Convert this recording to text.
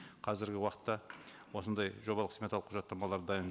қазіргі уақытта осындай жобалық сметалық құжаттамалар дайын